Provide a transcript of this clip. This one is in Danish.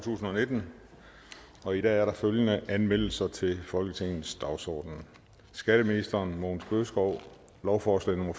tusind og nitten og i dag er der følgende anmeldelser til folketingets dagsorden skatteministeren lovforslag nummer